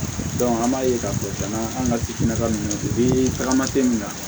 an b'a ye k'a fɔ cɛna an ka kitigɛla ninnu de bɛ tagama tɛ min na